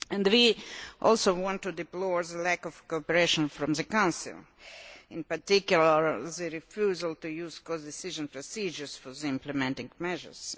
We also want to deplore the lack of cooperation from the Council, in particular, the refusal to use the codecision procedure for the implementing measures.